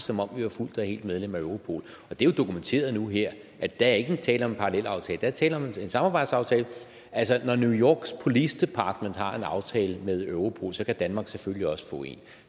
som om vi var fuldt og helt medlem af europol og det er jo dokumenteret nu her at der ikke er tale om en parallelaftale der er tale om en samarbejdsaftale altså når new yorks police department har en aftale med europol kan danmark selvfølgelig også få en